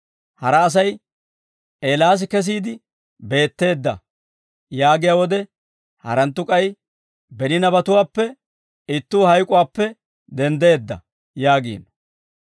Hara asay, «Eelaasi kesiide beetteedda» yaagiyaa wode, haranttu k'ay, «Beni nabatuwaappe ittuu hayk'uwaappe denddeedda» yaagiino.